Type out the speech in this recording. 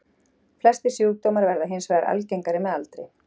Flestir sjúkdómar verða hins vegar algengari með aldri.